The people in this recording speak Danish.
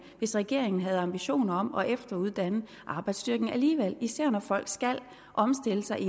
hvis regeringen havde ambitioner om at efteruddanne arbejdsstyrken alligevel især når folk skal omstille sig i